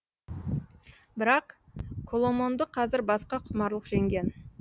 бірақ коломонды қазір басқа құмарлық жеңген